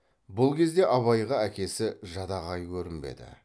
бұл кезде абайға әкесі жадағай көрінбеді